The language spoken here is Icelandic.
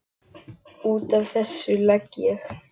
Út af þessu legg ég.